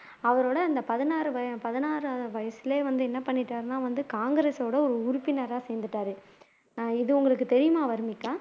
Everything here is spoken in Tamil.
அவரோட அந்த பதினாறு பதினாறாவது வயசிலயே வந்து என்ன பண்ணிட்டார்னா வந்து காங்கிரசோட ஒரு உறுப்பினரா சேர்ந்துட்டாரு அஹ் இது உங்களுக்கு தெரியுமா வர்னிகா